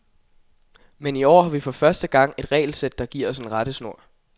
Men i år har vi for første gang et regelsæt, der giver os en rettesnor.